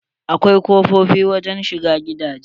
Akwai kofofi wurin shiga gidaje.